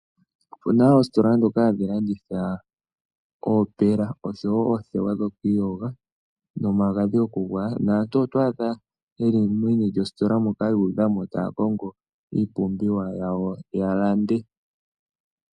Opuna oositola ndhoka hadhi landitha oopela osho wo oothewa dhoku iyoga nomagadhi gokugwaya, naantu oto adha ye li meni lyositola moka yu udha mo taya kongo iipumbiwa yawo ya lande.